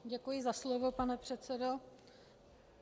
Děkuji za slovo, pane předsedo.